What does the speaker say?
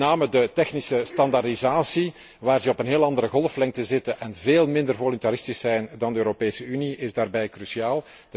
Met name de technische standaardisatie, waar ze op een heel andere golflengte zitten en veel minder voluntaristisch zijn dan wij in de Europese Unie, is daarbij cruciaal.